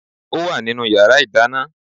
Ó wà nínú yàrá ìdáná